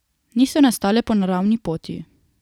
Niso nastale po naravni poti.